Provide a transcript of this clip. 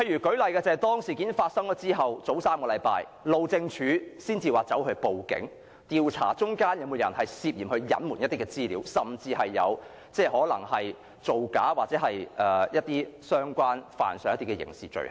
舉例而言，當事件發生後，路政署在3星期前才報案，調查當中有沒有人涉嫌隱瞞資料，甚至可能造假或干犯刑事罪行。